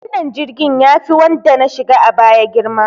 Wannan jirgin yafi wanda na shiga a baya girma.